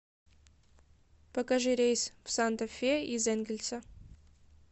покажи рейс в санта фе из энгельса